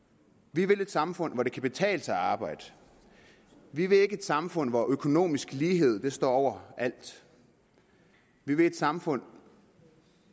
vi vil et samfund hvor det kan betale sig at arbejde vi vil ikke et samfund hvor økonomisk lighed står over alt vi vil et samfund